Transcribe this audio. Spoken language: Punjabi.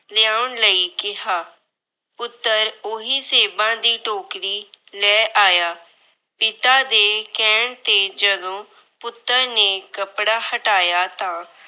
ਲਿਆਉਣ ਲਈ ਕਿਹਾ। ਪੁੱਤਰ ਉਹੀ ਸੇਬਾਂ ਦੀ ਟੋਕਰੀ ਲੈ ਆਇਆ। ਪਿਤਾ ਦੇ ਕਹਿਣ ਤੇ ਜਦੋਂ ਪੁੱਤਰ ਨੇ ਕੱਪੜਾ ਹਟਾਇਆ ਤਾਂ